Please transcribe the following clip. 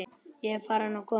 Ég er farin og komin.